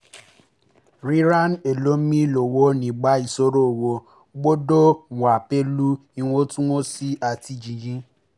ríran ẹlòmíì lọ́wọ́ nígbà ìṣòro owó gbọ́dọ̀ wà pẹ̀lú ìwọ̀ntúnwọ̀nsì àti jìhìn